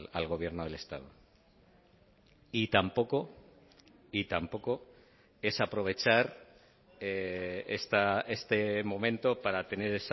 al gobierno del estado y tampoco y tampoco es aprovechar este momento para tener